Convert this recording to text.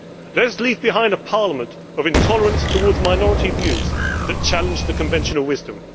Let us leave behind a parliament of intolerance towards minority views that challenge the conventional wisdom.